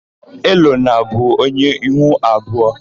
Elonna bụ onye ihu abụọ.